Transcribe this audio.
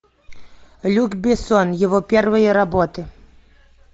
люк бессон его первые работы